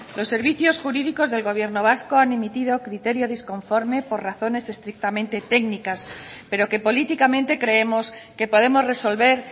los servicios jurídicos del gobierno vasco han emitido criterio disconforme por razones estrictamente técnicas pero que políticamente creemos que podemos resolver